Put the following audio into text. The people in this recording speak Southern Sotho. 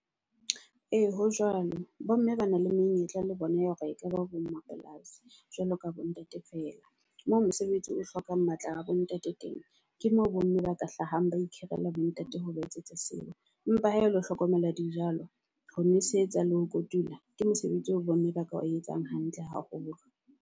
Ee, ho jwalo bo mme ba na le menyetla le bona ya hore e tla ba bo mmapolasi jwalo ka bo ntate feela. Moo mosebetsi o hlokang matla a bo ntate teng ke moo bo mme ba ka hlahang, ba ikhirela bo ntate ho ba etsetsa seo. Empa hae le ho hlokomela dijalo, ho nosetsa le ho kotula ke mosebetsi o bomme ba ka ba etsang hantle haholo.